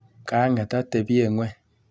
Kang'et atebye ng'weny.